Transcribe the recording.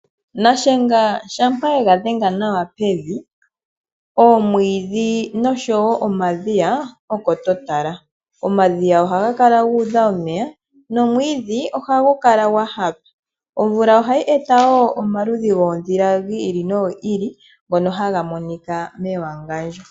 Nashenga shampa ega dhenga nawa pevi, oomwiidhi noshowo omadhiya oko to tala. Omadhiya ohaga kala gu udha omeya nomwiidhi ohagu kala dha hapa. Omvula ohayi eta wo omaludhi goondhila dhi ili nodhi ili ndhono hadhi monika mewangandjo.